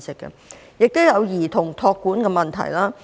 他們也有兒童託管的問題。